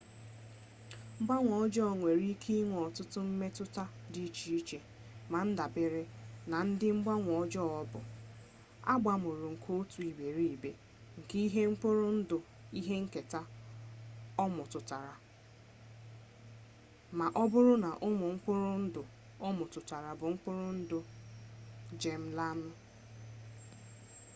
mgbanwe ọjọọ nwere ike inwe ọtụtụ mmetụta dị iche iche na ndabere na ụdị mgbanwe ọjọọ ọ bụ abamuru nke otu iberibe nke ihe mkpụrụ ndụ ihe nketa o metụtara na ma ọ bụrụ na ụmụ mkpụrụ ndụ o metụtara bụ ụmụ mkpụrụ ndụ geem-laịnụ